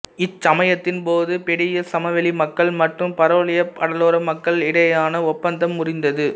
இச்சமயத்தின் போது பெடியிஸ் சமவெளி மக்கள் மற்றும் பரலியோய் கடலோர மக்கள் இடையேயான ஒப்பந்தம் முறிந்தது